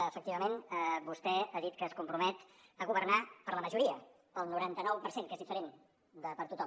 efectivament vostè ha dit que es compromet a governar per a la majoria per al noranta nou per cent que és diferent de per a tothom